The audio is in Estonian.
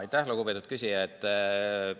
Aitäh, lugupeetud küsija!